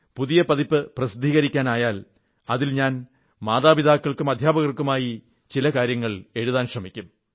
പുതിയ പതിപ്പ് പ്രസിദ്ധീകരിക്കാനായാൽ അതിൽ ഞാൻ മതാപിതാക്കൾക്കും അധ്യാപകർക്കുമായി ചില കാര്യങ്ങൾ എഴുതാൻ ശ്രമിക്കും